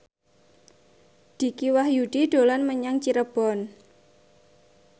Dicky Wahyudi dolan menyang Cirebon